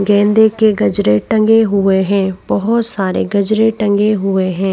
गेंदे के गजरे टंगे हुए है। बहोत सारे गजरे टंगे हुए है।